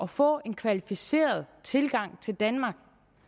få en kvalificeret tilgang til danmark